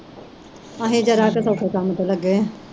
ਅਸੀਂ ਜ਼ਰਾ ਕੁ ਧੁੱਪੇ ਕੰਮ ਤੇ ਲੱਗੇ